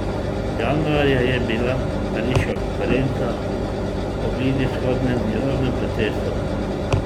Januarja je bila pariška konferenca o bližnjevzhodnem mirovnem procesu.